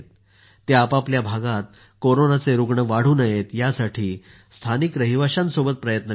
ते आपापल्या भागात कोरोनाचे रुग्ण वाढू नयेत यासाठी स्थानिक रहिवाशांसोबत प्रयत्न करत आहेत